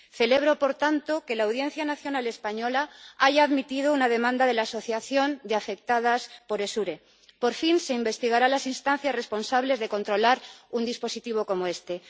Celebro, por tanto, que la Audiencia Nacional española haya admitido una demanda de la Asociación de Afectadas por Essure por fin, se investigarán las instancias responsables de controlar un dispositivo como este.